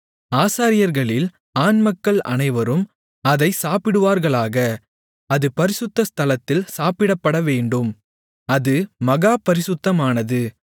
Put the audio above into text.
ஆசாரியர்களில் ஆண்மக்கள் அனைவரும் அதைச் சாப்பிடுவார்களாக அது பரிசுத்த ஸ்தலத்தில் சாப்பிடப்படவேண்டும் அது மகா பரிசுத்தமானது